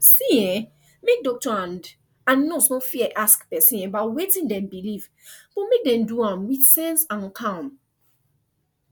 see ehnmake doctor and and nurse no fear ask person about wetin dem believe but make dem do am with sense and calm